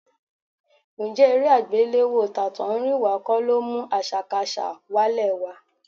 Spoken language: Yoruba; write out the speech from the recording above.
Ǹjẹ́ eré àgbéléwò tàtọ̀húnrìnwá kọ́ ló mú àṣàkaṣà wálẹ̀ wa?